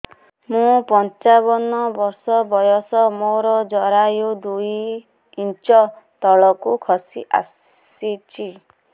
ମୁଁ ପଞ୍ଚାବନ ବର୍ଷ ବୟସ ମୋର ଜରାୟୁ ଦୁଇ ଇଞ୍ଚ ତଳକୁ ଖସି ଆସିଛି